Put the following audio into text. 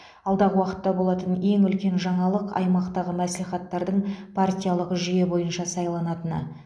алдағы уақытта болатын ең үлкен жаңалық аймақтағы мәслихаттардың партиялық жүйе бойынша сайланатыны